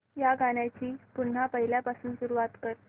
या गाण्या ची पुन्हा पहिल्यापासून सुरुवात कर